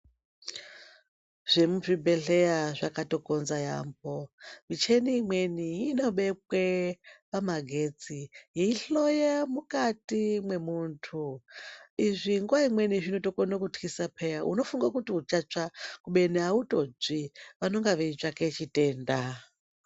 Zvemu zvibhehleya zvakatokonza yampo michini imweni inobekwe pamagetsi yeiyi hloya mukati mwemuntu izvi nguwa imweni zvinotokone kutothisa peya unofunge kuti uchatsva izvo autotsvi vanonga veitsvake chitenda.